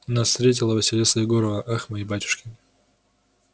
нас встретила василиса егоровна ах мои батюшки